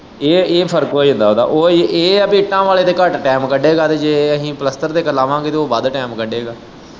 ਇਹ, ਇਹ ਫਰਕ ਹੋ ਜਾਂਦਾ ਉਹਦਾ ਉਹ ਇਹ ਹੈ ਕਿ ਇੱਟਾਂ ਵਾਲ਼ੇ ਤੇ ਘੱਟ ਟੈਮ ਕੱਢੇਗਾ ਤੇ ਜੇ ਆਹੀ ਪਲੱਸਤਰ ਤੇ ਲੱਗਾਵਾਗੇ ਤੇ ਉਹ ਵੱਧ ਟਾਇਮ ਕੱਢੇਗਾ।